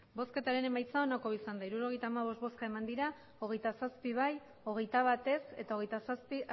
emandako botoak hirurogeita hamabost bai hogeita zazpi ez hogeita bat abstentzioak hogeita zazpi